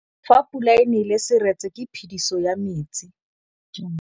Fa pula e nelê serêtsê ke phêdisô ya metsi.